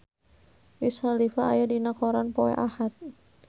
Wiz Khalifa aya dina koran poe Ahad